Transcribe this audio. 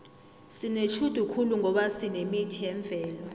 sinetjhudu khulu ngoba sinemithi yemvelo